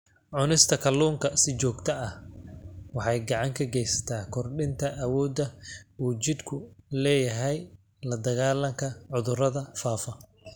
Cunista kalluunka si joogto ah waxay gacan ka geysataa kordhinta awoodda uu jidhku u leeyahay la-dagaallanka cudurrada faafa.